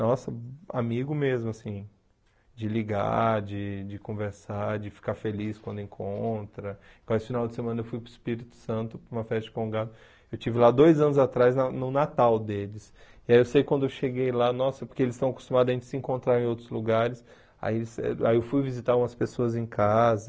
Nossa, amigo mesmo, assim... De ligar, de de conversar, de ficar feliz quando encontra... Quase final de semana eu fui para o Espírito Santo, para uma festa de Congado... Eu estive lá dois anos atrás, na no Natal deles... E aí eu sei quando eu cheguei lá... Nossa, porque eles estão acostumados a gente se encontrar em outros lugares... Aí eles aí eu fui visitar umas pessoas em casa...